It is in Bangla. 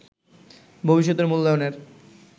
ভবিষ্যতে মূল্যায়নের